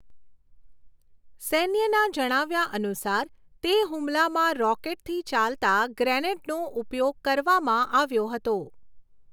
સૈન્યના જણાવ્યા અનુસાર, તે હુમલામાં રોકેટથી ચાલતા ગ્રેનેડનો ઉપયોગ કરવામાં આવ્યો હતો.